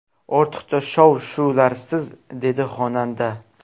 Ortiqcha shov-shuvlarsiz”, dedi xonanda.